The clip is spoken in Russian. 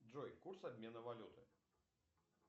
джой курс обмена валюты